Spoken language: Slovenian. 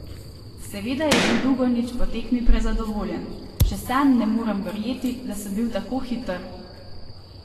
Seveda je bil Dugonjić po tekmi prezadovoljen: "Še sam ne morem verjeti, da sem bil tako hiter.